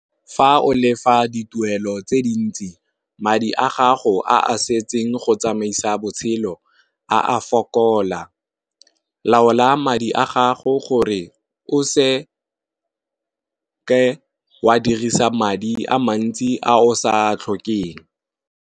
Fa o lefa di tuelo tse dintsi madi a gago a setseng go tsamaisa botshelo, a fokola laola madi a gago gore o se ke wa dirisa madi a mantsi a o sa tlhokeng.